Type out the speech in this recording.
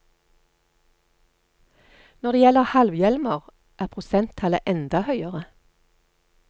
Når det gjelder halvhjelmer, er prosenttallet enda høyere.